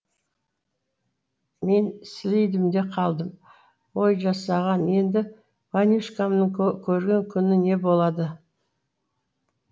мен сілейдім де қалдым ой жасаған енді ванюшкамнің көрген күні не болады